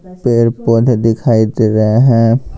पेड़-पौधे दिखाई दे रहे हैं।